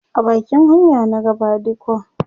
a bakin hanya na ga badikon